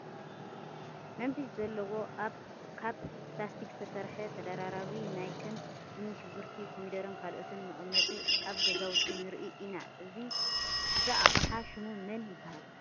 መንፊት ዘለዎ ካብ ፕላስቲክ ዝተሰርሐ ተደራራቢ ናይ ከም እኒ ሽጉርቲ፣ ኮሚደረን ካልኦትን መቐመጢ ኣብ ገዛውቲ ንርኢ ኢና፡፡ እዛ ኣቕሓ ሽሙ መን ይበሃል?